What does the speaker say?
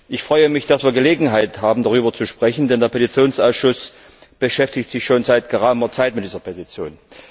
Ich freue mich, dass wir Gelegenheit haben, darüber zu sprechen, denn der Petitionsausschuss beschäftigt sich schon seit geraumer Zeit mit dieser Petition.